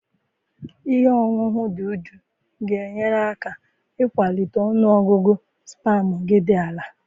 Ihe ọṅụṅụ Dudu ga-enyere gị aka ịkwalite ọnụ ọgụgụ spamụ gị dị ala.